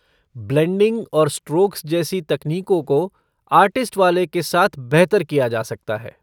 Blending और strokes जैसी तकनीकों को आर्टिस्ट वाले के साथ बेहतर किया जा सकता है।